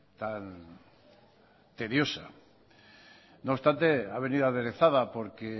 tan tediosa no obstante ha venido aderezada porque